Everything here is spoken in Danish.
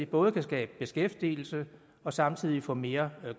både kan skabe beskæftigelse og samtidig få mere